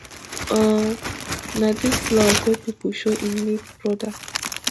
um na dis love wey pipo show im late broda